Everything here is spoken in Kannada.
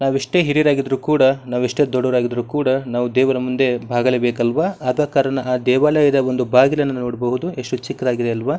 ನಾವೆಷ್ಟೇ ಹಿರಿಯರಾಗಿದ್ರೆ ಕೂಡ ನಾವೆಷ್ಟೇ ದೊಡ್ಡವರಾಗಿದ್ರೆ ಕೂಡ ನಾವು ದೇವರ ಮುಂದೆ ಬಾಗಲೇ ಬೇಕು ಅಲ್ವ ಆದ ಕಾರಣ ಆ ದೇವಾಲಯದ ಒಂದು ಬಾಗಿಲನ್ನು ನೋಡಬಹುದು ಎಷ್ಟು ಚಿಕ್ಕದಾಗಿದೆ ಅಲ್ವ.